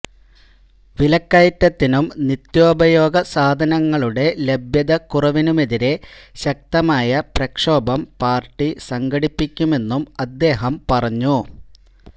വിലക്കയറ്റത്തിനും നിത്യോപയോഗ സാധനങ്ങളുടെ ലഭ്യതക്കുറവിനുമെതിരെ ശക്തമായ പ്രക്ഷോഭം പാര്ട്ടി സംഘടിപ്പിക്കുമെന്നും അദ്ദേഹം പറഞ്ഞു